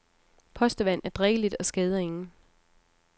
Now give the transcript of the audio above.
Postevand er drikkeligt og skader ingen.